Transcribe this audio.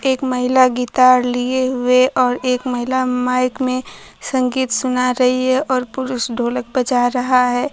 एक महिला गितार लिए हुए और एक महिला माइक में संगीत सुना रही है और पुरुष ढोलक बजा रहा है।